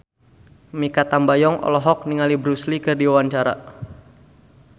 Mikha Tambayong olohok ningali Bruce Lee keur diwawancara